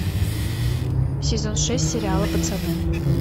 сезон шесть сериала пацаны